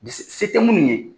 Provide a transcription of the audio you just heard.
Ni , se tɛ minnu ye